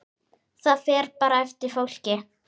Það fer bara eftir fólki.